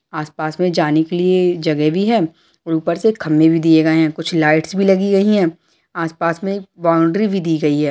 आस-पास में जाने के लिए जगह भी है ऊपर से खंभे भी दिए गए हैंकुछ लाइटस भी लगी हुई है आस-पास में बाउंडरी भी दी गयी है।